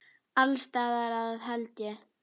Alls staðar að held ég.